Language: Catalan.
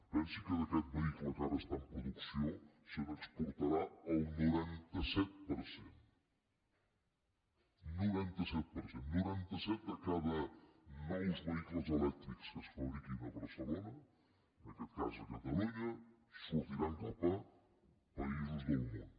pensi que d’aquest vehicle que ara està en producció se n’exportarà el noranta set per cent un noranta set per cent noranta set de cada cent nous vehicles elèctrics que es fabriquin a barcelona en aquest cas a catalunya sortiran cap a països del món